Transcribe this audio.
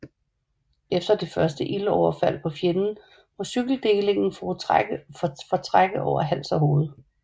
Efter det første ildoverfald på fjenden må cykeldelingen fortrække over hals og hoved